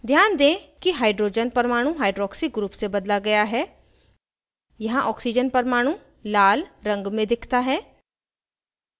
ध्यान दें कि hydrogen परमाणु hydroxy group से बदला गया है यहाँ oxygen परमाणु लाल रंग में दिखता है